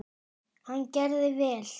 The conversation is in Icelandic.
Hann gerði vel.